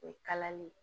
O ye kalali ye